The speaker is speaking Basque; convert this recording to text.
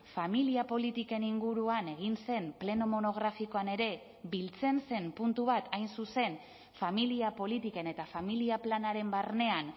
familia politiken inguruan egin zen pleno monografikoan ere biltzen zen puntu bat hain zuzen familia politiken eta familia planaren barnean